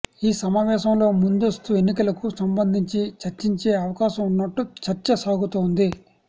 ఈ సమావేశంలో ముందస్తు ఎన్నికలకు సంబంధించి చర్చించే అవకాశం ఉన్నట్టు చర్చ సాగుతోంది